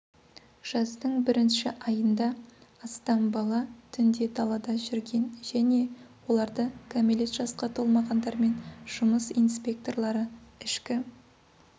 жаздың бірінші айында астам бала түнде далада жүрген және оларды кәмелет жасқа толмағандармен жұмыс инспекторлары ішкі